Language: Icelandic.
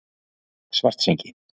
Svartsengi